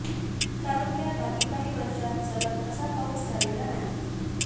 तालुक्यात मागील काही वर्षात सलग असा पाऊस झालेला नाही